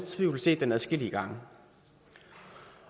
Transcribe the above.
tvivl set den adskillige gange